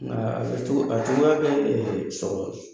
Nka a bɛ cogo a cogoya so de.